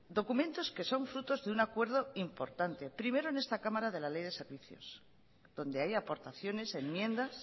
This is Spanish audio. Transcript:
documentos que son frutos de un acuerdo importante primero de esta cámara de la ley de servicios donde hay aportaciones enmiendas